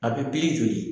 A bɛ pi joli